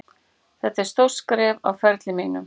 Þetta er stórt skref á ferli mínum,